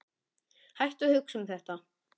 Hættu að hugsa um þetta.